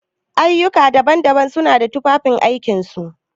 Ayyuka daban-daban suna da tufafin aikin su.